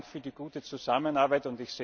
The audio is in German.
Herzlichen Dank für die gute Zusammenarbeit.